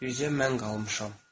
Bircə mən qalmışam.